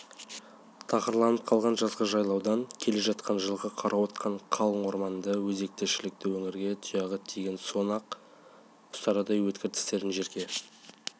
тақырланып қалған жазғы жайлаудан келе жатқан жылқы қарауытқан қалың орманды өзекті-шілікті өңірге тұяғы тиген соң-ақ ұстарадай өткір тістерін жерге